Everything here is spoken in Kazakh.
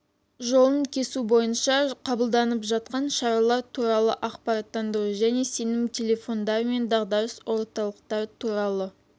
жолын кесу бойынша қабылданып жатқан шаралар туралы ақпараттандыру және сенім телефондары мен дағдарыс орталықтары туралы